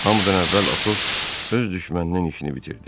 Hamıdan əvvəl Atos öz düşməninin işini bitirdi.